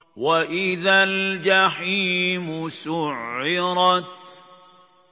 وَإِذَا الْجَحِيمُ سُعِّرَتْ